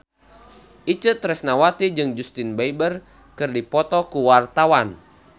Itje Tresnawati jeung Justin Beiber keur dipoto ku wartawan